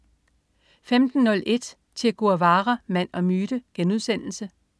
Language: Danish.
15.01 Che Guevara, mand og myte*